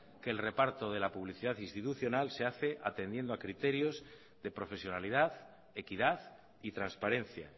que el reparto de la publicidad institucional se hace atendiendo criterios de profesionalidad equidad y transparencia